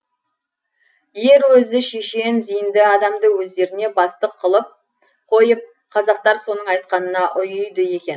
ер өзі шешен зейінді адамды өздеріне бастық қылып қойып қазақтар соның айтқанына ұйиды екен